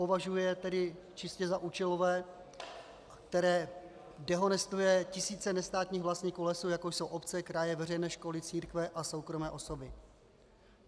Považuje je tedy čistě za účelové, které dehonestuje tisíce nestátních vlastníků lesů jako jsou obce, kraje, veřejné školy, církve a soukromé osoby.